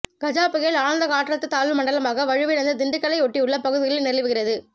கஜா புயல் ஆழ்ந்த காற்றழுத்த தாழ்வு மண்டலமாக வலுவிழந்து திண்டுக்கல்லை ஒட்டியுள்ள பகுதிகளில் நிலவுகிறது